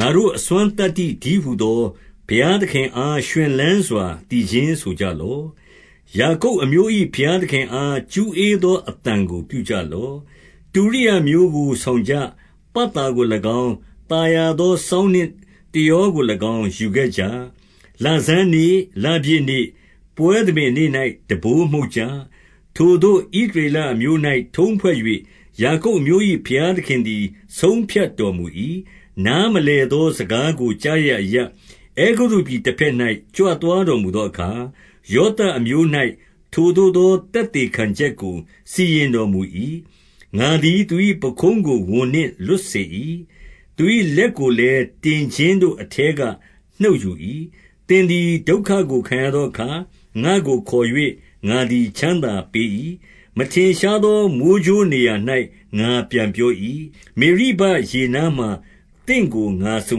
ငါတို့ အစွမ်းသတ္တိတည်းဟူသော ဘုရားသခင် အား ရွှင်လန်းစွာ သီချင်းဆိုကြလော့။ ယာကုပ်အမျိုး၏ ဘုရားသခင်အား ကျူးဧသော အသံကို ပြုကြလော့။ တုရိယာမျိုးကိုဆောင်ကြ။ ပတ်သာကို၎င်း၊ သာယာသော စောင်းနှင့်တယောကို၎င်း ယူခဲ့ကြ။ လဆန်းနေ့၊ လပြည့်နေ့၊ ပွဲသဘင်နေ့၌ တံပိုး မှုတ်ကြ။ ထိုသို့ ဣသရေလအမျိုး၌ထုံးဖွဲ့၍၊ ယာကုပ် အမျိုး၏ ဘုရားသခင်သည် ဆုံးဖြတ်တော်မူ၏။ နားမလည်သော စကားကိုကြားရာအရပ်၊ အဲဂုတ္တုပြည်တဘက်၌ ကြွသွားတော်မူသောအခါ၊ ယောသပ်အမျိုး၌ ထိုသို့သော သက်သေခံချက်ကို စီရင် တော်မူ၏။ ငါသည်သူ၏ ပခုံးကိုဝန်နှင့် လွတ်စေ၏။ သူ၏ လက်ကိုလည်း တင်ခြင်းတို့ အထဲက နှုတ်ယူ၏။ သင်သည်ဒုက္ခကိုခံရသောအခါ၊ ငါ့ကိုခေါ်၍ ငါသည်ချမ်းသာပေး၏။ မထင်ရှားသော မိုဃ်းကြိုးနေရာ ၌ ငါပြန်ပြော၏။ မေရိဘရေနားမှာ သင့်ကို ငါစုံ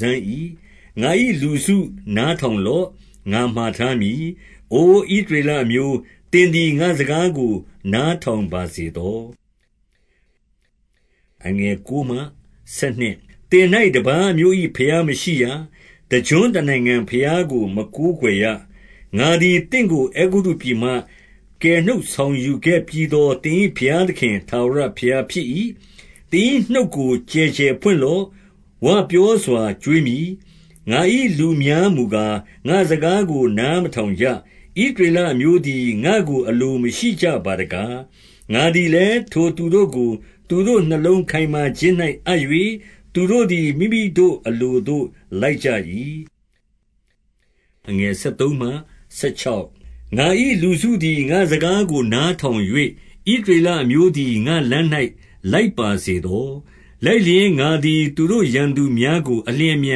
စမ်း၏။ ငါ၏လူစု၊ နားထောင်လော့။ ငါမှာထားမည်။ အိုဣသရေလအမျိုး၊ သင်သည် ငါ့စကားကို နားထောင် ပါစေသော။ သင်၌ တပါးအမျိုး၏ ဘုရားမရှိရ။ တကျွန်း တနိုင်ငံဘုရားကို မကိုးကွယ်ရ။ ငါသည်သင့်ကို အဲဂုတ္တုပြည်မှ ကယ်နှုတ်ဆောင် ယူခဲ့ပြီးသော သင်၏ဘုရားသခင်ထာဝရဘုရားဖြစ်၏။ သင်၏နှုတ်ကို ကျယ်ကျယ်ဖွင့်လော့။ ဝပြောစွာ ကျွေး မည်။ ငါ၏လူများမူကား၊ ငါ့စကားကို နားမထောင် ကြ။ ဣသရေလအမျိုးသည် ငါ့ကိုအလိုမရှိကြပါတကား။ ငါသည်လည်း ထိုသူတို့ကို သူတို့နှလုံးခိုင်မာ ခြင်း၌ အပ်၍၊ သူတို့သည် မိမိတို့အလိုသို့ လိုက်ကြ၏။ ငါ၏လူစုသည် ငါ့စကားကို နားထောင်၍၊ ဣသရေလအမျိုးသည် ငါ့လမ်း၌ လိုက်ပါစေသော။ လိုက်လျှင် ငါသည်သူတို့ရန်သူများကို အလျင် အမြ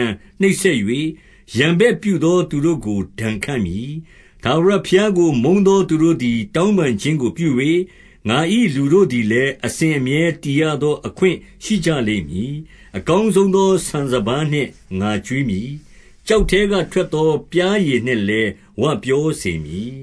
န် နှိပ်စက်၍၊ ရန်ဘက်ပြုသောသူတို့ကို ဒဏ်ခတ် မည်။ ထာဝရဘုရားကို မုန်းသောသူတို့သည် တောင်း ပန်ခြင်းကို ပြု၍၊ ငါ၏လူတို့သည်လည်း၊ အစဉ်အမြဲ တည်ရသော အခွင့်ရှိကြလိမ့်မည်။ အကောင်းဆုံးသော ဆန်စပါးနှင့် ငါကျွေးမည်။ ကျောက်ထဲက ထွက်သောပျားရည်နှင့်လည်း ဝပြော စေမည်။